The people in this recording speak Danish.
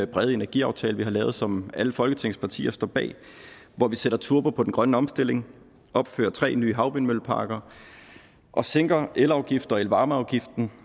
brede energiaftale vi har lavet som alle folketingets partier står bag hvor vi sætter turbo på den grønne omstilling opfører tre nye havvindmølleparker og sænker elafgiften og elvarmeafgiften